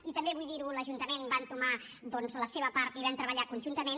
i també vull dir ho l’ajuntament va entomar doncs la seva part i vam treballar conjuntament